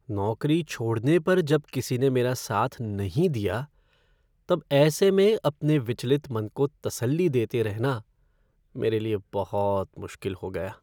नौकरी छोड़ने पर जब किसी ने मेरा साथ नहीं दिया, तब ऐसे में अपने विचलित मन को तसल्ली देते रहना मेरे लिए बहुत मुश्किल हो गया।